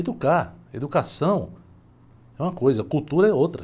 Educar, educação é uma coisa, cultura é outra.